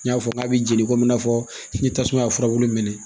N y'a fɔ k'a bɛ jeni komi i n'a fɔ ni tasuma y'a furabulu minɛ